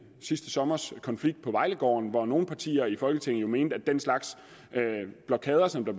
sidste sommers konflikt på vejlegården hvor nogle partier i folketinget mente at den slags blokader som blev